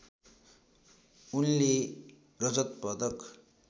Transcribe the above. उनले रजत पदक